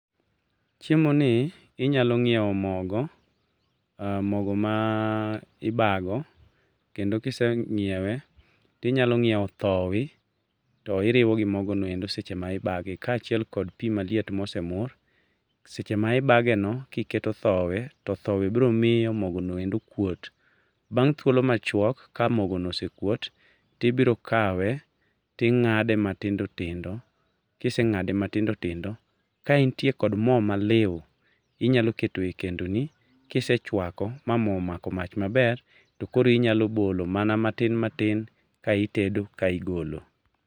Chiemo ni inyalo ngiewo mogo, mogo ma ibago, kendo kisengiewe to inyalo ngiewo thowe, to iriwo gi mogo no seche ma ibage kaachiel kod pi maliet mose mur. Seche ma ibage no ka iketho thowe, to thowe biro miyo mogo endo kuot. Bang thuolo machuok, ka mogo no osekuot to ibiro kawe to ing'ado matindo tindo. Kiseng'ado matindo ka intie kod moo maliw, inyalo keto e kendo ni kisechwako ma moo omako mach maber to inyalo bolo matin matin ka itedo ka igolo.